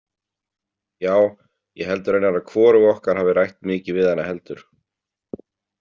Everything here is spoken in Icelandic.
Já, ég held raunar að hvorug okkar hafi rætt mikið við hana heldur.